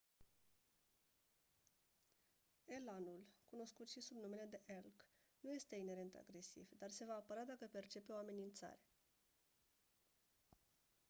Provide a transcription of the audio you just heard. elanul cunoscut si sub numele de elk nu este inerent agresiv dar se va apăra dacă percepe o amenințare